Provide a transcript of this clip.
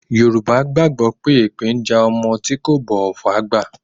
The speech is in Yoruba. Yorùbá gbàgbó pé epe ń ja ọmọ tí kò bọ̀wọ̀ fún àgbà.